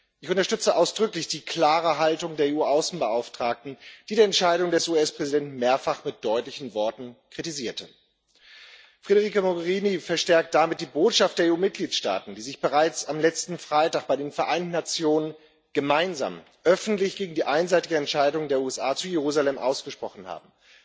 Ich unterstütze ausdrücklich die klare Haltung der EU Außenbeauftragten, die die Entscheidung des US Präsidenten mehrfach mit deutlichen Worten kritisierte. Federica Mogherini verstärkt damit die Botschaft der EU Mitgliedsstaaten, die sich bereits am letzten Freitag bei den Vereinten Nationen gemeinsam öffentlich gegen die einseitige Entscheidung der USA zu Jerusalem ausgesprochen haben.